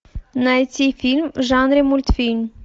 найти фильм в жанре мультфильм